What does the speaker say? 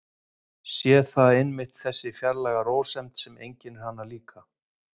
Sé að það er einmitt þessi fjarlæga rósemd sem einkennir hana líka.